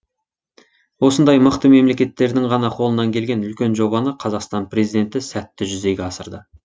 осындай мықты мемлекеттердің ғана қолына келген үлкен жобаны қазақстан президенті сәтті жүзеге асырды